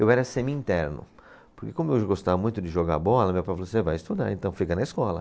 Eu era semi-interno, porque como eu gostava muito de jogar bola, meu pai falou, você vai estudar, então fica na escola.